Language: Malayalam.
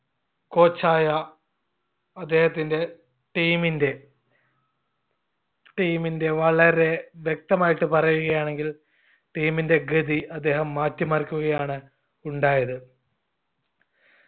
coach ആയ അദ്ദേഹത്തിന്റെ team ന്റെ team ന്റെ വളരെ വ്യക്തമായിട്ട് പറയുകയാണെങ്കിൽ team ന്റെ ഗതി അദ്ദേഹം മാറ്റിമറിക്കുകയാണ് ഉണ്ടായത്.